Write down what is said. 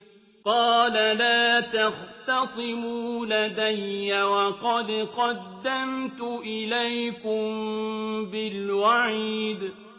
قَالَ لَا تَخْتَصِمُوا لَدَيَّ وَقَدْ قَدَّمْتُ إِلَيْكُم بِالْوَعِيدِ